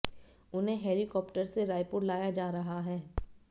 उन्हें हेलीकाप्टर से रायपुर लाया जा रहा है